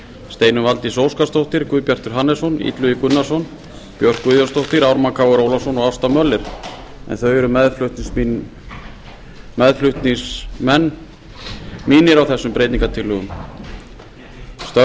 steinunn valdís óskarsdóttir guðbjartur hannesson illugi gunnarsson björk guðjónsdóttir ármann krónu ólafsson og ásta möller en þau eru meðflutningsmenn mínir á þessum breytingartillögum störf